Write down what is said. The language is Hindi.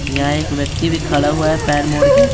यहाँ एक व्यक्ति भी खड़ा हुआ है पैर मोड़ के।